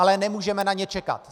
Ale nemůžeme na ně čekat.